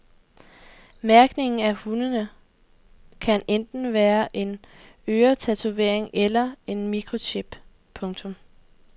Mærkningen af hundene kan enten være en øretatovering eller en mikrochip. punktum